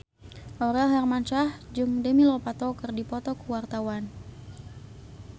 Aurel Hermansyah jeung Demi Lovato keur dipoto ku wartawan